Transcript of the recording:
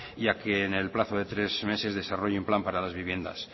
y a que en el plazo de tres meses desarrolle un plan para las viviendas